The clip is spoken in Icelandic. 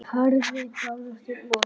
Harðri baráttu lokið.